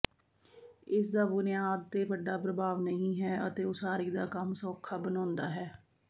ਇਸਦਾ ਬੁਨਿਆਦ ਤੇ ਵੱਡਾ ਪ੍ਰਭਾਵ ਨਹੀਂ ਹੈ ਅਤੇ ਉਸਾਰੀ ਦਾ ਕੰਮ ਸੌਖਾ ਬਣਾਉਂਦਾ ਹੈ